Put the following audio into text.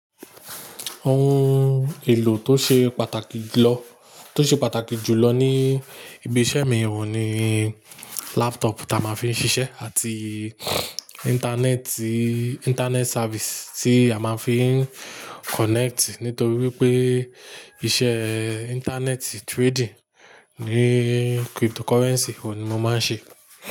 Ohun èlò tó ṣe pàtàkì julọ, tó ṣe pàtàkì jùlọ ní ibi iṣẹ́ mi ohun ní laptop ta máa ń fi ń ṣiṣẹ́ àti interneti, internet service tí a máa ń fi ń connect nítorí wípé iṣẹ́ internet trading ní cryptocurrency wo ni mo máa ń ṣe.